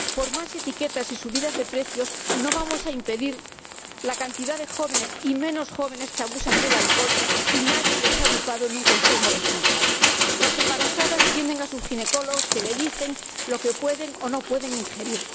Por más etiquetas y subidas de precios que haya, no vamos a impedir que cantidad de jóvenes y menos jóvenes abusen del alcohol, si nadie les ha educado en un consumo responsable. Las embarazadas tienen a sus ginecólogos, que les dicen lo que pueden o no pueden ingerir.